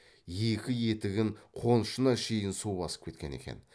екі етігін қонышына шейін су басып кеткен екен